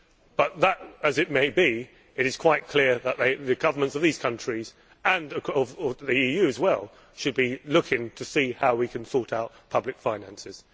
But be that as it may, it is quite clear that the governments of these countries, and the EU as well, should be looking to see how we can sort out public finances.